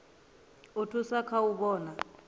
u thusa kha u vhona